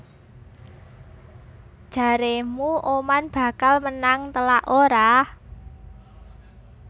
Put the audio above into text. Jaremu Oman bakal menang telak ora?